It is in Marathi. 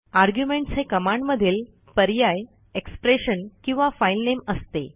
आर्ग्युमेंट्स हे कमांडमधील पर्याय एक्सप्रेशन किंवा फाइलनेम असते